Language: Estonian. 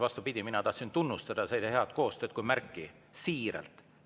Vastupidi, mina tahtsin tunnustada seda kui hea koostöö märki, siiralt.